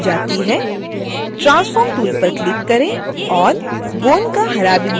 transform tool पर click करें और bone का हरा बिंदु चुनें